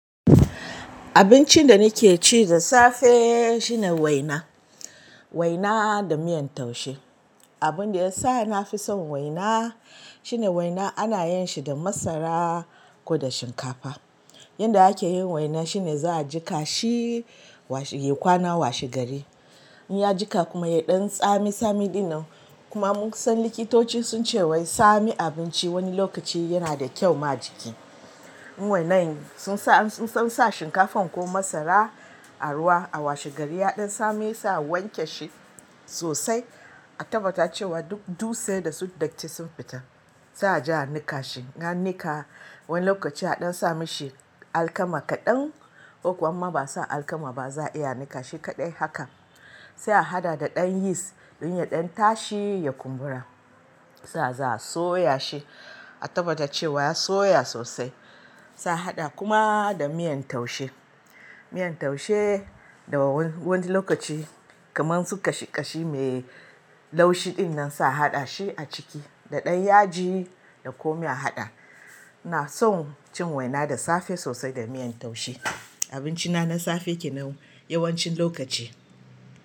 Abincin da nake ci da safe shine waina, waina da miyan taushe. Abun da ya sa na fi son waina shine waina ana yin shi da masara ko da shinkafa. Yanda ake yin waina shine za a jika shi ya kwana washe gari. In ya jika kuma ya ɗan tsami tsami ɗinnan, kuma mun san likitoci sun ce wai sami abinci wani lokaci yana da kyau ma jiki. In wainan sun sa shinkafan ko masara a ruwa a washe gari ya ɗan tsami ya sa wanke shi sosai, a tabbata cewa duk dutse da su datti sun fita. Sai a ja ni kashi. Na ni ka wani lokaci a ɗan sa mishi alkama kaɗan, ko kuma ba sa alkama ba za a iya ni kashi kaɗai haka. Sai a haɗa da ɗan yis don ya ɗan tashi ya kumbura. Sa za a soya shi, a tabbata cewa ya soya sosai. Sa a haɗa kuma da miyan taushe. Miyar taushe da wani lokaci kamar su ƙashi ƙashi mai laushi ɗinnan sa a haɗa shi a ciki da ɗan yaji da komai a haɗa. Na son cin waina da safe sosai da miyan taushe. Abinci na safe kenan yawancin lokaci.